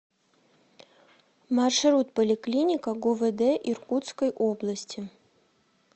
маршрут поликлиника гувд иркутской области